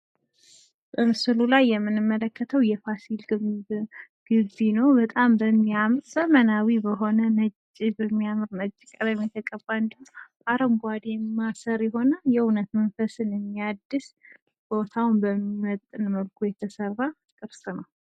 በምስሉ ላይ የምንመለከተው የፋሲል ግምብ ግቢ ነው። በጣም በሚያምር፣ ዘመናዊ በሆነ ፣ መንፈስን የሚያድስ የሆነ ፣ ቦታውን በሚመጥን መልኩ የተሰራ ቅርስ ነው።